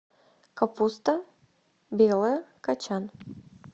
капуста белая кочан